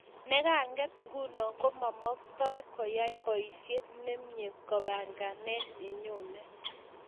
Nekanget nguno ko maktoi koyai boishet nemie kibangengeit nenyoni